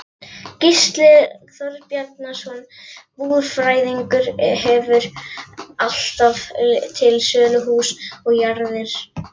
Gísli Þorbjarnarson búfræðingur hefur alltaf til sölu hús og jarðir.